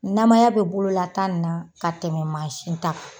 Namaya be bolola ta nin na ka tɛmɛ ta kan.